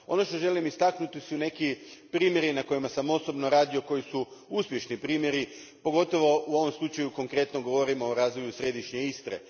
Ono što želim istaknuti su neki primjeri na kojima sam osobno radio koji su uspješni primjeri, pogotovo u ovom slučaju konkretno govorim o razvoju središnje Istre.